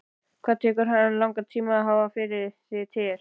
Hvað tekur langan tíma að hafa þig til?